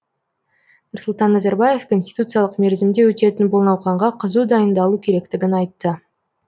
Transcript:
нұрсұлтан назарбаев конституциялық мерзімде өтетін бұл науқанға қызу дайындалу керектігін айтты